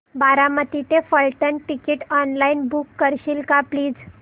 बारामती ते Phaltan ticket online book करशील का प्लीज